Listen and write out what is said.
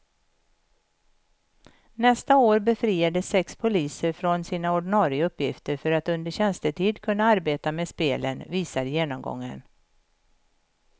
Nästa år befriades sex poliser från sina ordinarie uppgifter för att under tjänstetid kunna arbeta med spelen, visar genomgången.